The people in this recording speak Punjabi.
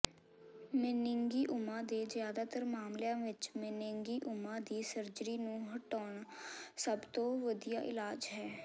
ਮੇਨਿੰਗੀਓਮਾ ਦੇ ਜ਼ਿਆਦਾਤਰ ਮਾਮਲਿਆਂ ਵਿਚ ਮੇਨਿੰਗੀਓਮਾ ਦੀ ਸਰਜਰੀ ਨੂੰ ਹਟਾਉਣਾ ਸਭ ਤੋਂ ਵਧੀਆ ਇਲਾਜ ਹੈ